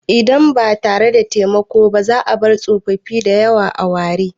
Idan ba tare da taimako ba, za a bar tsofaffi da yawa a ware.